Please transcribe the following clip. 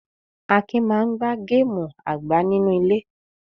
Akin máa ń gbá gáámù àgbá-nínú-ilé.